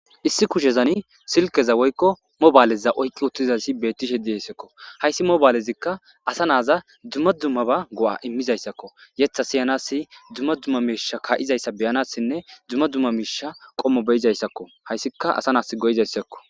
issi kushezani silkeza woykko mobaaleza oyqqi uttizasi bettishe dieyssakko hayssi mobaalezikka asa naaza dumma dummaba go7a immizayssakko yetha siyanasi dzumma dumma miisha ka7izayssa beyanassinne dumma dumma miisha qommo beyizayssakko hayssika asa naas goyizayssakko